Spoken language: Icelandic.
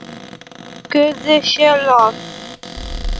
Guði sé lof!